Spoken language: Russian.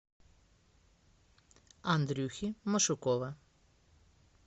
андрюхи машукова